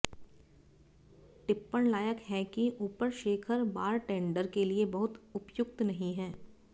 टिप्पण लायक है कि ऊपर शेखर बारटेंडर के लिए बहुत उपयुक्त नहीं है